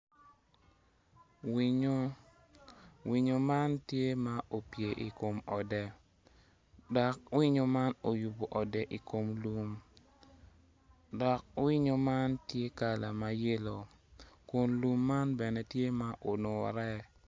Winyo, winyo man tye ma opyer i kom ode dok winyo man oyubo ode i kom lum dok winyo man tye kala me yelo kun lum man bene tye ma olwore.